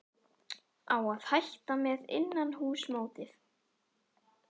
Á að hætta með innanhússmótið?